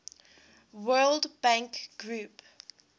world bank group